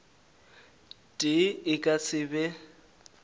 tee e ka se be